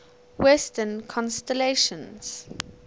western constellations